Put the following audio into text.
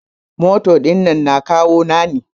Mota dinnan na kawu na ne.